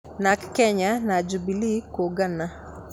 Narc Kenya na Jubilee kũũngana